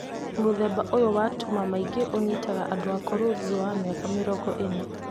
Mũthemba ũyũ wa tuma maingĩ ũnyitaga andũ akũrũ ( thutha wa mĩaka mĩrongo ĩna)